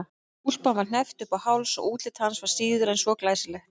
Úlpan var hneppt upp í háls og útlit hans var síður en svo glæsilegt.